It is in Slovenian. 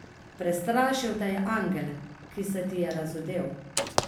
Prestrašil te je angel, ki se ti je razodel.